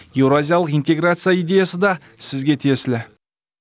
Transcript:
еуразиялық интеграция идеясы да сізге тиесілі